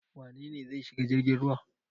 Wane ne zai shiga jirgin ruwa?